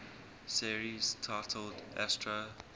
series titled astro